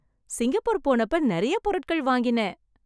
Singapore போனப்ப நிறைய பொருட்கள் வாங்கினேன்.